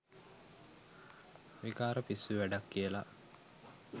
විකාර පිස්සු වැඩක් කියලා.